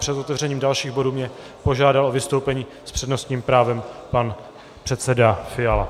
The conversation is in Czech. Před otevřením dalších bodů mě požádal o vystoupení s přednostním právem pan předseda Fiala.